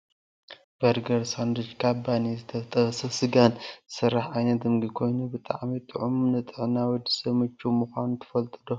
በርገር ሳንዱች ካብ ባኒን ዝተጠበሰ ስጋን ዝስራሕ ዓይነት ምግቢ ኮይኑ ብጣዕሚ ጥዑምን ንጥዕና ወዲ ሰብ ምችውን ምኳኑ ትፈልጡ ዶ ?